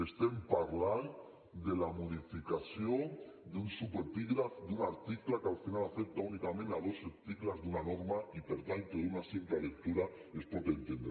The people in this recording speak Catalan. estem parlant de la modificació d’un subepígraf d’un article que al final afecta únicament dos articles d’una norma i per tant que d’una simple lectura es pot entendre